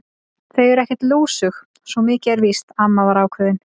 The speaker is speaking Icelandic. Þau eru ekkert lúsug, svo mikið er víst amma var ákveðin.